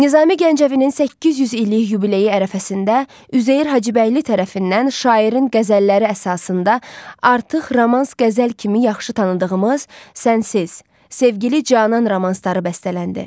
Nizami Gəncəvinin 800 illik yubileyi ərəfəsində Üzeyir Hacıbəyli tərəfindən şairin qəzəlləri əsasında artıq romans qəzəl kimi yaxşı tanıdığımız Sənsiz, sevgili Canan romansları bəstələndi.